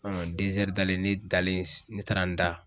Ɔn dezɛri dalen ne dalen ne taara n da